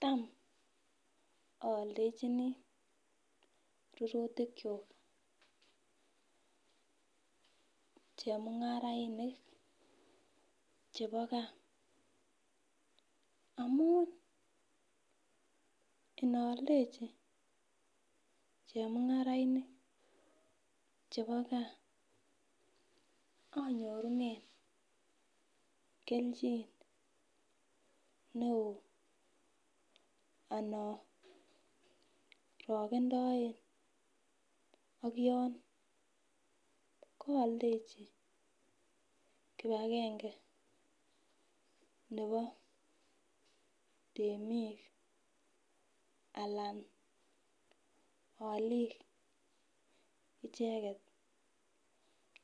Tam ayaldechini rururtik chuk chemungarainik chebo gaa amun inaaldechi chemungarainik chebo gaa anyorunen kelchin neon anan arakendoen ak yon kayaldechi kibagenge Nebo temik anan alik icheket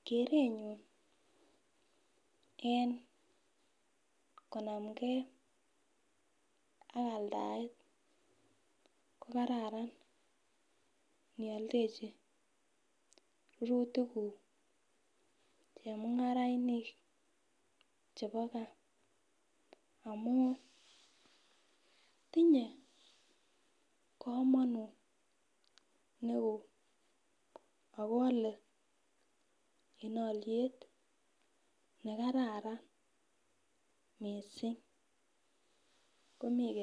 kerenyun en konamgei ak aldaet kokararan niyaldechi rururtik guk chemungarainik chebo gaa amun tinye kamanut neon akoyale en aliet nekararan mising